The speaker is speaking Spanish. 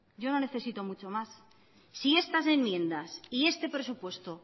yo no necesito mucho más si estas enmiendas y este presupuesto